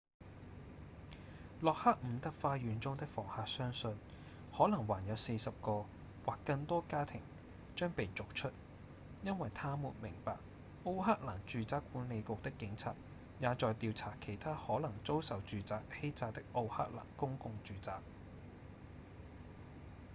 洛克伍德花園中的房客相信可能還有40個或更多家庭將被逐出因為他們明白奧克蘭住宅管理局的警察也在調查其他可能遭受住宅欺詐的奧克蘭公共住宅